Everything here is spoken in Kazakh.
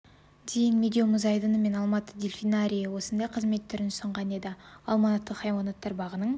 дейін медеу мұз айдыны мен алматы дельфинарийі осындай қызмет түрін ұсынған еді алматы хайуанаттар бағының